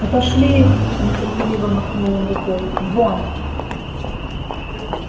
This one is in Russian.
отошли их нетерпеливо махнул он рукой вон